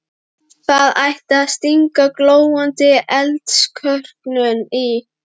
Það ætti að stinga glóandi eldskörungnum í.